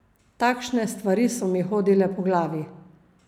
Takšne stvari so mi hodile po glavi.